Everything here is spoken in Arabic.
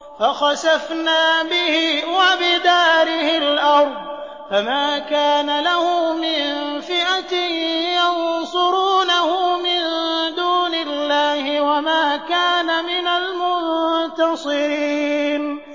فَخَسَفْنَا بِهِ وَبِدَارِهِ الْأَرْضَ فَمَا كَانَ لَهُ مِن فِئَةٍ يَنصُرُونَهُ مِن دُونِ اللَّهِ وَمَا كَانَ مِنَ الْمُنتَصِرِينَ